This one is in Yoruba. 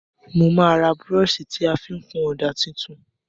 Mo má ra brush ti a fi n kun òdà tuntun